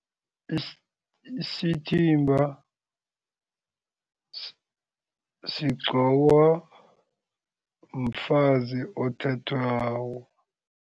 Isithimba sigqokwa mfazi othathwako.